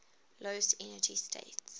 lowest energy state